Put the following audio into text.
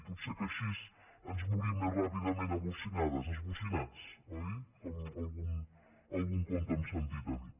pot ser que així ens morim més ràpidament a bocinades esbocinats oi com en algun conte hem sentit a dir